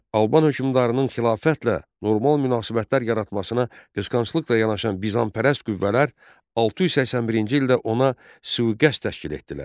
Alban hökmdarının xilafətlə normal münasibətlər yaratmasına qısqanclıqla yanaşan Bizanpərəst qüvvələr 681-ci ildə ona sui-qəsd təşkil etdilər.